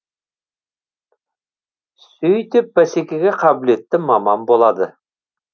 сөйтіп бәсекеге қабілетті маман болады